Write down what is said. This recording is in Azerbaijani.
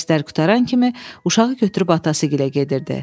Dərslər qurtaran kimi uşağı götürüb atası gilə gedirdi.